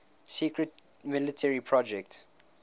secret military project